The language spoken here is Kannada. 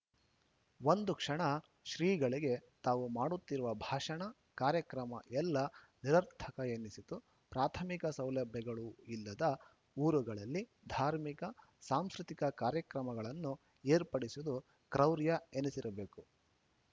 ಒಂದು ಕ್ಷಣ ಶ್ರೀಗಳಿಗೆ ತಾವು ಮಾಡುತ್ತಿರುವ ಭಾಷಣ ಕಾರ್ಯಕ್ರಮ ಎಲ್ಲ ನಿರರ್ಥಕ ಎನ್ನಿಸಿತು ಪ್ರಾಥಮಿಕ ಸೌಲಭ್ಯಗಳೂ ಇಲ್ಲದ ಊರುಗಳಲ್ಲಿ ಧಾರ್ಮಿಕ ಸಾಂಸ್ಕೃತಿಕ ಕಾರ್ಯಕ್ರಮಗಳನ್ನು ಏರ್ಪಡಿಸುವುದು ಕ್ರೌರ್ಯ ಎನಿಸಿರಬೇಕು